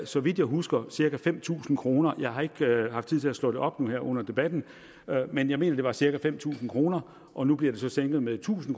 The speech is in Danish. så vidt jeg husker cirka fem tusind kroner jeg har ikke haft tid til at slå det op her under debatten men jeg mener det var cirka fem tusind kroner og nu bliver det så sænket med tusind